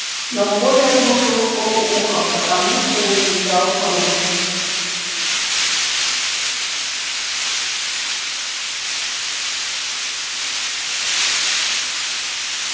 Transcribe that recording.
но коля слушал вполуха потому что изучал хруст